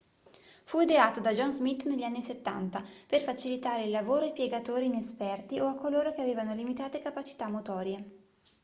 fu ideato da john smith negli anni 70 per facilitare il lavoro ai piegatori inesperti o a coloro che avevano limitate capacità motorie